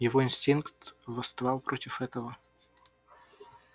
его инстинкт восставал против этого